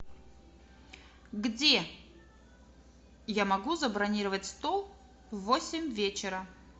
где я могу забронировать стол в восемь вечера